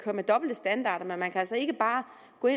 med dobbelte standarder men man kan altså ikke bare